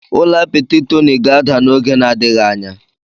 Ụlọ apịtị Tonyi ga-ada n'oge na-adịghị anya.